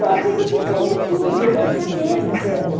Eu achei que eu tinha que comer tudo, eu tinha medo dela.